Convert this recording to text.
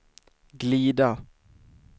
glida